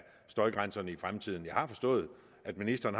støjgrænserne i fremtiden jeg har forstået at ministeren